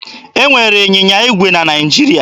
E nwere ịnyịnya igwe na Naịjirịa.